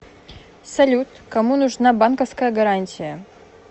салют кому нужна банковская гарантия